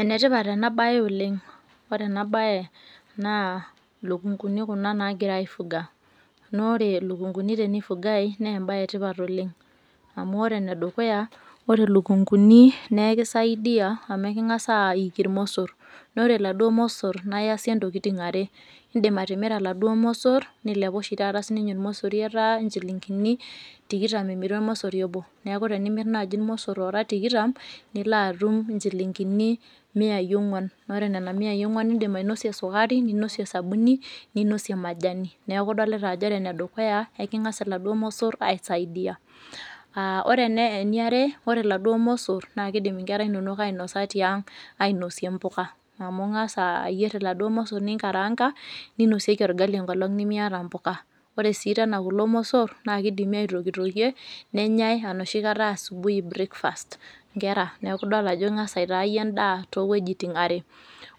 Enetipat enabae oleng ore enabae na lukunguni kuna nagirai aifuga na ore lukunguni tenifugae na embae etipat oleng amu ore enedukuya ore lukunguni na ekisaidia amu ekungasa aiki irmosor na ore laduo mosor na iasie ntokitin are indim atimira laduo mosor nilepa sinye ormosori ata nchilingini tikitam emiri ormosori obi neaku tenimir nai irmosor tikitam nilo atum nchilingini miai onguan na indim ainosie sukari, ninosie osabuni ninosie majani neaku idolita ajo ekingasa laduo mosor aisaidia aa ore eniare ore laduo mosor na kidim nkera inonok ainosa tiang ainosie mpuka amu ingasa ayier laduo mosor ninkaranga ninosieki orgali esaa nemeetae impuka ore si tena kulo mosor ns kidimi aitokitokie nenyae tedekenya anaa breakfast nkera neaku idolta ajo ingasa aitaa iyie endaa towuejitin are